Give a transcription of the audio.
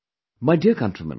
My dear countrymen